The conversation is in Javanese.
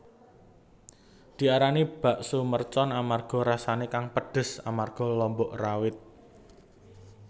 Diarani bakso mercon amarga rasané kang pedes amarga lombok rawit